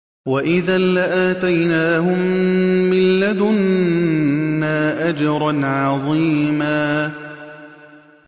وَإِذًا لَّآتَيْنَاهُم مِّن لَّدُنَّا أَجْرًا عَظِيمًا